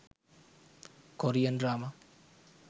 korean drama